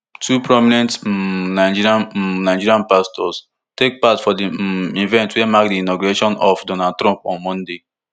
two prominent um nigerian um nigerian pastors take part for um events wey mark di inauguration of donald trump on monday